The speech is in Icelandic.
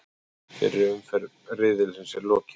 Fyrri umferð riðilsins er lokið